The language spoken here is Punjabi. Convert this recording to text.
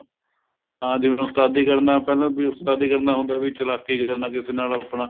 ਹਾਂ ਜਿਵੇਂ ਉਸਤਾਦੀ ਕਰਨਾ ਪਹਿਲਾਂ ਉਸਤਾਦੀ ਕਰਨਾ ਹੁੰਦਾ ਵੀ ਚਲਾਕੀ ਕਰਨਾ ਕਿਸੇ ਨਾਲ ਆਪਣਾ